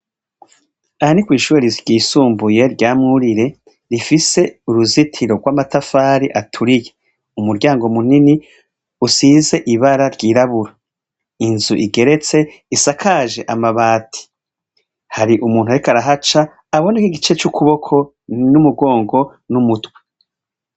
Aha ni kw'iShure ry'isumbuye rya Mwurire, rifise uruzitiro rw'amatafari aturiye. Umuryango munini usize ibara ry'irabura. Inzu igeretse isakaje amabati. Har'umuntu arik' arahaca aboneke igice c'ukuboko n'umugongo n'umutwe.